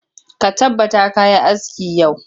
Ka tabbata ka yi aski yau!